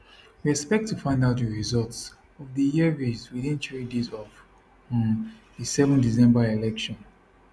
we expect to find out di results of dis year race within three days of um di 7 december election